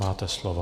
Máte slovo.